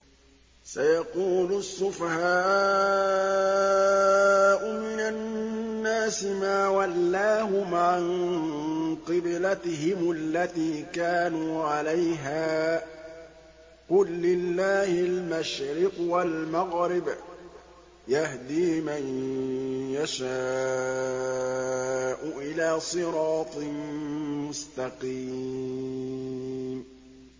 ۞ سَيَقُولُ السُّفَهَاءُ مِنَ النَّاسِ مَا وَلَّاهُمْ عَن قِبْلَتِهِمُ الَّتِي كَانُوا عَلَيْهَا ۚ قُل لِّلَّهِ الْمَشْرِقُ وَالْمَغْرِبُ ۚ يَهْدِي مَن يَشَاءُ إِلَىٰ صِرَاطٍ مُّسْتَقِيمٍ